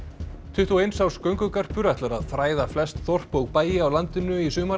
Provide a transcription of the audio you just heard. tuttugu og eins árs göngugarpur ætlar að þræða flest þorp og bæi á landinu í sumar